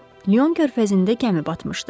Lion körfəzində gəmi batmışdı.